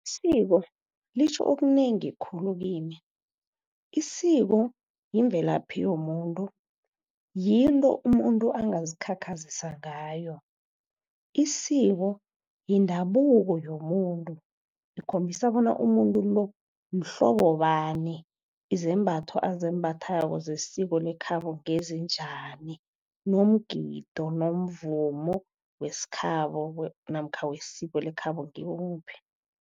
Isiko litjho okunengi khulu kimi. Isiko yimvelaphi yomuntu, yinto umuntu angazikhakhazisa ngayo. Isiko yindabuko yomuntu, ikhombisa bona umuntu lo mhlobo bani, izembatho azimbathako zesiko lekhabo ngezinjani, nomgido nomvumo wesikhabo namkha wesiko lekhabo ngimuphi.